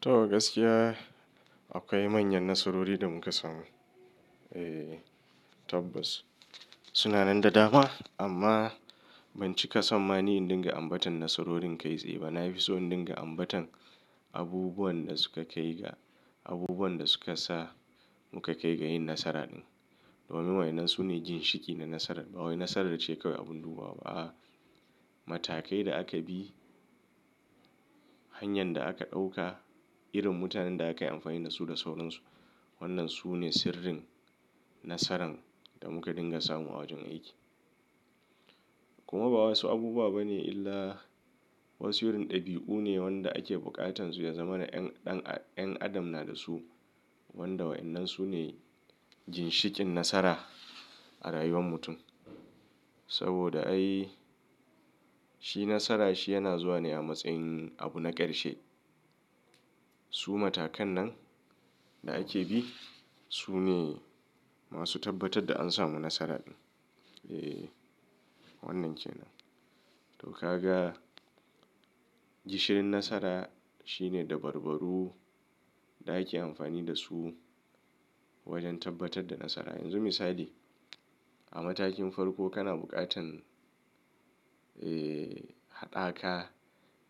To gaskiya, akwai manyan nasarori da muka samu. Ehh tabbas suna nan da dama amma ban cika son ma ni indiga ambata nasarorin kai tsaye ba. Na fi so in dinga ambatan abubuwan da suka kai ga, abubuwan da suka sa muka kai ga yin nasara din. Domin wai nan su ne ginshiƙi na nasarar. Ba wai nasarar ce kawai abun dubawa ba. Matakai da aka bi, hanyar da aka ɗauka, irin mutanen da aka yi amfani da su da sauransu. Wannan su ne sirrin nasaran da muka dinga samu a wajen aiki. Kuma ba wasu abubuwa ba ne illa wasu irin ɗabi'u ne wanda ake buƙatan su ya zama na ƴan adam na da su wanda wai nan su ne ginshikin nasara a rayuwar mutum. Saboda ai shi nasara shi yana zuwa ne a matsayin abu na ƙarshe. Su matakan nan da ake bi su ne masu tabbatar da an samu nasara din. Ehh wannan ke nan. To ka ga gishirin nasara shine dabarbarru da ake amfani da su wajen tabbatar da nasara. Yanzu misali a matakin farko kana buƙatan, eee, haɗaka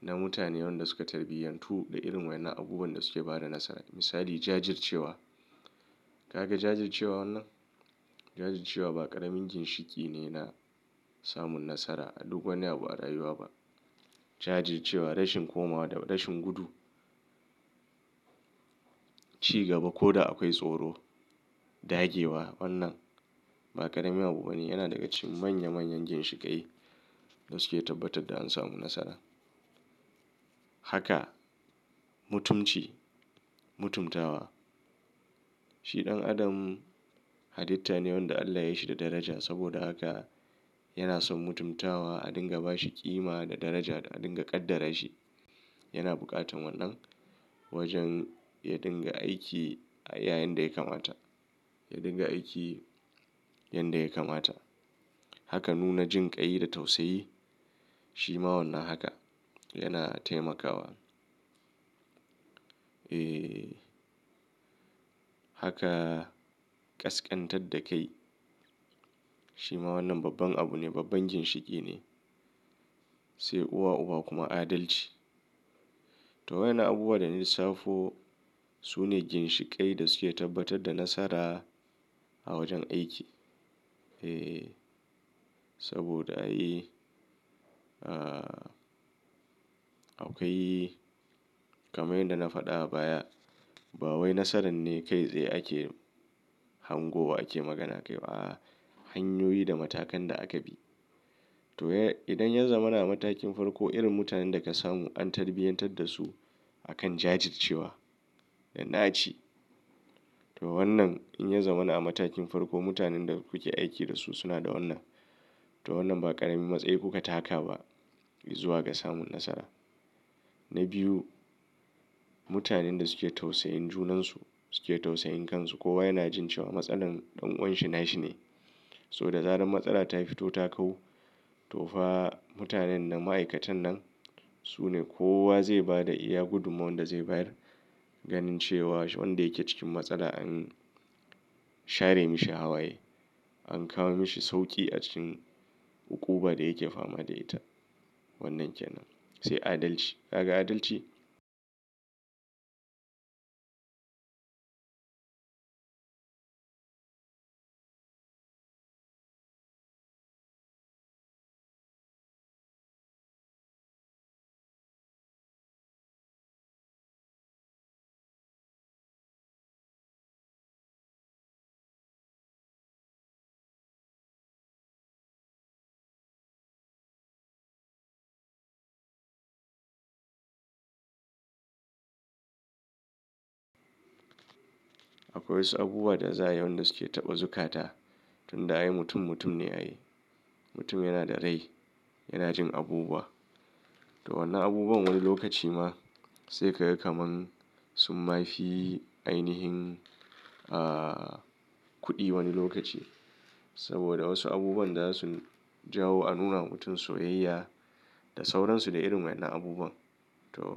na mutanen da suka tarbiyantu da irin wannan abubuwan da suke ba da nasara. Misali jajircewa. Ka ga jajircewa wannan? Jajircewa ba ƙaramin ginshiki ne na samun nasara a duk wani abu a rayuwa ba. Jajircewa, rashin komawa da rashin gudu, ci gaba ko da akwai tsoro, dage wa wannan ba ƙarami abu ba ne. Yana daga cikin manya manyan ginshiƙai da suke tabbatar da an samu nasara. Haka mutumci, mutumtawa. Shi ɗan adam haditta ne wanda Allah ya yi shi da daraja saboda haka yana son mutumtawa a dinga ba shi ƙima da daraja da a dinga ƙaddara shi. Yana buƙatan wannan wajen ya dinga aiki a yayin da ya kamata, ya dinga aiki yanda yake mata. Haka nuna jinƙai da tausayi shi ma wannan haka yana taimakawa. Eee, haka ƙasƙantar da kai shi ma wannan babban abu ne, babban ginshiki ne. Sai uwa-uba kuma adalci. To wa ina abubuwa da lisafo su ne ginshiƙai da suke tabbatar da nasara a wajen aiki. Eee, saboda ai, aa, Akwai kamar yadda na faɗa a baya ba wai nasaran ne kai tsaye ake hango wa ake magana kai. A'a hanyoyi da matakan da aka bi. To idan ya zama na a matakin farko irin mutanen da ka samu an tarbiyantar da su akan jajircewa da naci. To wannan in ya zama na a matakin farko mutanen da kuke aiki da su suna da wannan. To wannan ba ƙaramin matsayi kuka taka ba in zuwa ga samun nasara. Na biyu mutanen da suke tausayin junan su suke tausayin kan su. Kowa yana jin cewa matsalar ɗan'uwanshi nashi ne. So da zaran matsala ta fito ta kau, to fa mutanen da ma'aikatan nan su ne kowa zai ba da iya gudummawar da zai bayar Ganin cewa wanda yake cikin matsala an share mishi hawaye, an kawo mishi sauƙi a cikin uƙuba da yake fama da ita. Wannan kenan. Sai adalci. Ka ga adalci? Akwai wasu abubuwa da za'ayi wanda suke taɓa zukata tun da ai mutum mutum ne ai. Mutum yana da rai yana jin abubuwa. To wannan abubuwan wani lokaci ma sai ka ga kaman su ma fi ainihin, aa, kuɗi wani lokaci. Saboda wasu abubuwan da za su jawo a nuna wa mutum soyayya da sauransu de irin wannan abubuwan. To.